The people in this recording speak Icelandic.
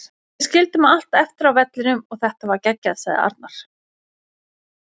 Við skildum allt eftir á vellinum og þetta var geggjað, sagði Arnar.